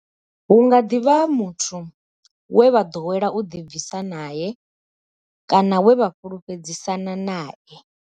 Hu nga ḓi vha muthu we vha ḓowela u ḓibvisa nae kana we vha fhulufhedzisana nae.